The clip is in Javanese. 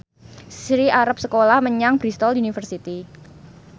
Sri arep sekolah menyang Bristol university